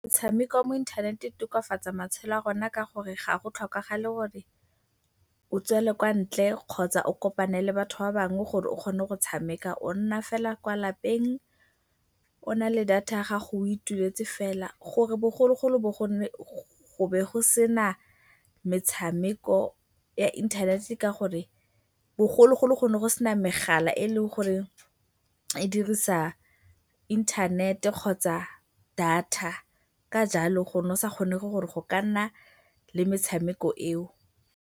Metshameko ya mo internet-e e tokafatsa matshelo a rona ka gore ga go tlhokagale gore o tswele kwa ntle kgotsa o kopane le batho ba bangwe gore o kgone go tshameka. O nna fela kwa lapeng o na le data ya gago o ituletse fela. Gore bogologolo go be go sena metshameko ya inthanete ke ka gore bogologolo go ne go sena megala e e leng gore e dirisa inthanete kgotsa data ka jalo go ne go sa kgonege gore go ka nna le metshameko eo.